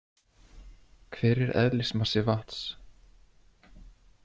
Hver er eðlismassi vatns?